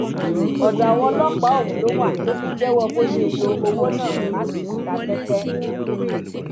ọdọ àwọn ọlọpàá ọhún ló wà tó fi jẹwọ bó ṣe lo owó náà láti fi ta tẹtẹ